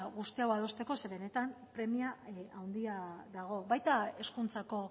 guztia adosteko ze benetan premia handia dago baita hezkuntzako